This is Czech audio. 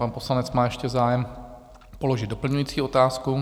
Pan poslanec má ještě zájem položit doplňující otázku.